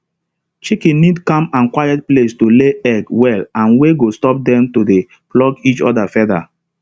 chicken need calm and quiet place to lay egg well and wey go stop dem to dey pluck each other feather